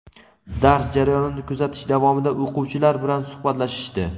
dars jarayonini kuzatish davomida o‘quvchilar bilan suhbatlashishdi.